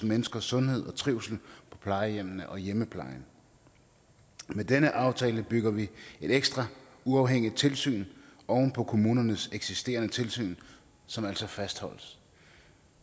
menneskers sundhed og trivsel på plejehjemmene og i hjemmeplejen med denne aftale bygger vi et ekstra uafhængigt tilsyn oven på kommunernes eksisterende tilsyn som altså fastholdes